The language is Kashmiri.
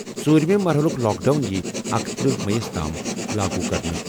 ژوٗرِمہِ مرحلُک لاک ڈاوُن یِیہِ 31 مئی تام لاگو کرنہٕ۔